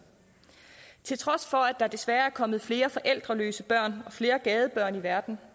til trods for at der desværre er kommet flere forældreløse børn og flere gadebørn i verden